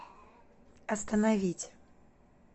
остановить